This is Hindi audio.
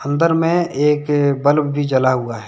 अंदर में एक बल्ब भी जला हुआ है।